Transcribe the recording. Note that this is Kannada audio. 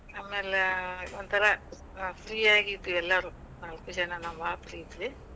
ಆಮ್ಯಾಲ ಒಂದಥರಾ ಆ free ಆಗಿದ್ವಿ ಎಲ್ಲಾರುನು. ನಾಕು ಜನಾ ನಾವ್ ಆಪ್ತ ಇದ್ವಿ.